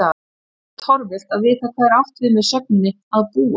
Þá er líka torvelt að vita hvað átt er við með sögninni að búa?